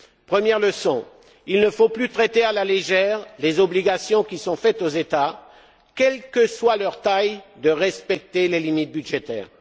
Première leçon il ne faut plus traiter à la légère les obligations qui sont faites aux États quelle que soit leur taille de respecter les limites budgétaires.